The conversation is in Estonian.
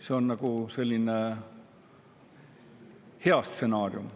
See on selline hea stsenaarium.